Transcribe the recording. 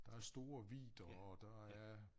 Der er store vidder og der er